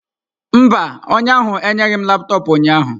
Mba, onye ahụ enyeghị m laptọọpụ ụnyaahụ.